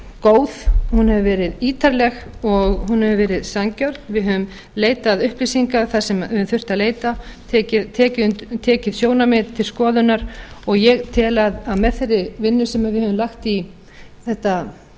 góð hún hefur verið ítarleg og hún hefur verið sanngjörn við höfum leitað upplýsinga þar sem við höfum þurft að leita tekið sjónarmið til skoðunar og ég tel að með þeirri vinnu sem við höfum lagt í þetta